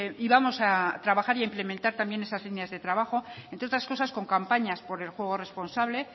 y vamos a trabajar e implementar también esas líneas de trabajo entre otras cosas con campañas por el juego responsable